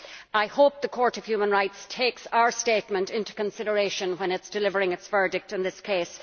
I hope the Court of Human Rights takes our statement into consideration when delivering its verdict in this case.